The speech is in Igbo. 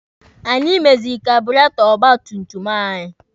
Anyị meziri kaaburetọ ọgba tum tum anyị